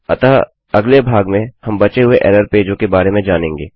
अतः अगले भाग में हम बचे हुए एरर पेजों के बारे में जानेंगे